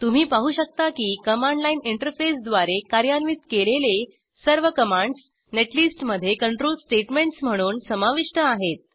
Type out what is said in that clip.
तुम्ही पाहू शकता की कमांड लाईन इंटरफेसद्वारे कार्यान्वित केलेले सर्व कमांड्स नेटलिस्टमध्ये कंट्रोल स्टेट्मेंट्स म्हणून समाविष्ट आहेत